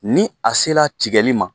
Ni a sela tigali ma